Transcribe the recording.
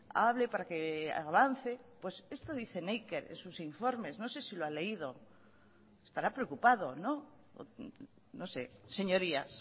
hable para que avance pues esto dice neiker en sus informes no sé si lo ha leído estará preocupado no no sé señorías